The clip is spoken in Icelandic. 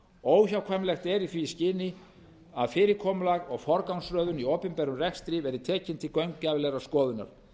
óhjákvæmilegt er að í því skyni verði fyrirkomulag og forgangsröðun í opinberum rekstri tekin til gaumgæfilegrar skoðunar